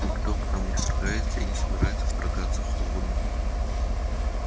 никто к нам не вторгается и не собирается вторгаться холодно